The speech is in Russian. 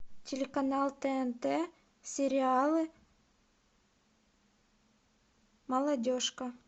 телеканал тнт сериалы молодежка